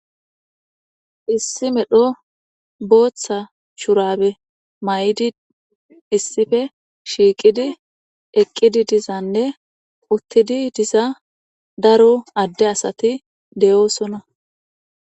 issi medho booththa shurabe may7idi issife shiiqidi eqqidi dizanne uttidi diza daro adde asati deyoosona